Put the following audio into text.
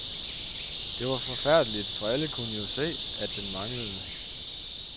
Det var forfærdeligt, for alle kunne jo se, at den manglede.